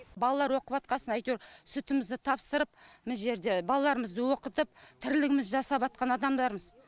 балалар оқып жатқасын әйтеуір сүтімізді тапсырып мына жерде балаларымызды оқытып тірлігімізді жасап адамдармыз